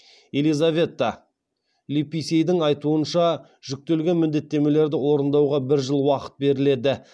елизавета липисейдің айтуынша жүктелген міндеттемелерді орындауға бір жыл уақыт беріледі